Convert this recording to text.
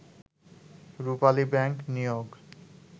রূপালী bank নিয়োগ